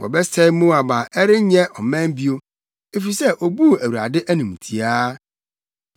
Wɔbɛsɛe Moab na ɛrenyɛ ɔman bio, efisɛ obuu Awurade animtiaa.